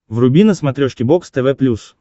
вруби на смотрешке бокс тв плюс